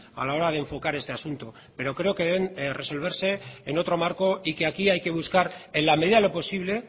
a la hora de enfocar este asunto pero creo que deben resolverse en otro marco y que aquí hay que buscar en la medida de lo posible